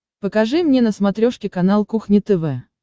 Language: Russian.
покажи мне на смотрешке канал кухня тв